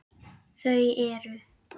Þau eru